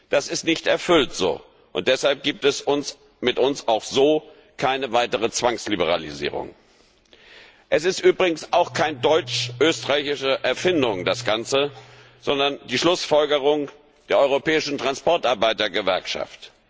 Das ist so nicht erfüllt, und deshalb gibt es mit uns auch so keine weitere Zwangsliberalisierung. Das Ganze ist übrigens auch keine deutsch österreichische Erfindung, sondern die Schlussfolgerung der Europäischen Transportarbeitergewerkschaft.